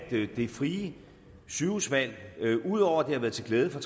det frie sygehusvalg ud over at have været til glæde for